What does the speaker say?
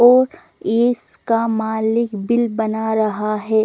और इसका मालिक बिल बना रहा है।